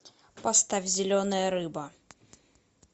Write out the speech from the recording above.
поставь зеленая рыба